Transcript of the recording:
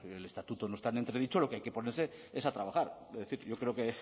el estatuto no está en entredicho lo que hay que ponerse es a trabajar es decir yo creo que